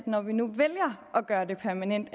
når vi nu vælger at gøre det permanent